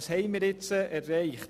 Doch was haben wir nun erreicht?